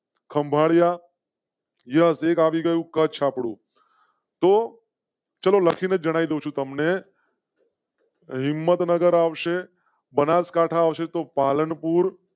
ખંભાળિયા. કચ્છ આપડુ. તૂ ચલો લખી ને જણાવું છું તમ ને. હિમત નગર આવશે. બનાસકાંઠા આવશે તો પાલનપુર.